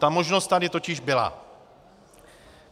Ta možnost tady totiž byla.